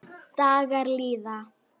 Dagar líða.